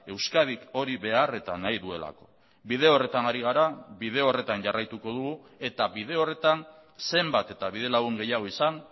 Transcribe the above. euskadik hori behar eta nahi duelako bide horretan ari gara bide horretan jarraituko dugu eta bide horretan zenbat eta bide lagun gehiago izan